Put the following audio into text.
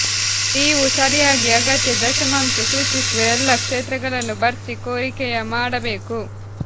ನೀವು ಸರಿಯಾಗಿ ಅಗತ್ಯ ದಶಮಾಂಶ ಸೂಚಿಸುವ ಎಲ್ಲಾ ಕ್ಷೇತ್ರಗಳನ್ನು ಭರ್ತಿ ಕೋರಿಕೆಯ ಮಾಡಬೇಕು